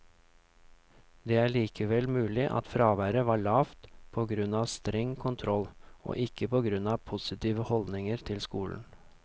Det er likevel mulig at fraværet var lavt på grunn av streng kontroll, og ikke på grunn av positive holdninger til skolen.